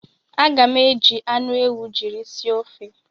Aga m eji anụ ewu jiri sie ofe